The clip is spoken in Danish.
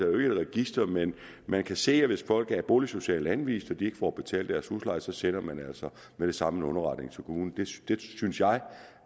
register men man kan se hvis folk er boligsocialt anvist og de ikke får betalt deres husleje og så sender man altså med det samme en underretning til kommunen det synes jeg